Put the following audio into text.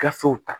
Gafew ta